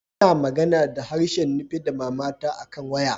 N'na magana da harshen Nupe da mama ta akan waya.